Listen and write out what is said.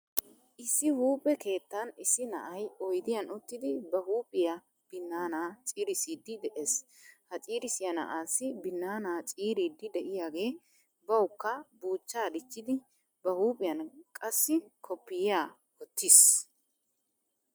Issi huuphphe keettan issi na'ay oydiyan uttidi ba huuphphiyaa binaana ciirisidi de'ees. Ha ciirisiyaa na'aasi binaana ciiridi deiyaage bawukka buucha dichchidi ba huuphphiyaan qassi kopiya wottiis.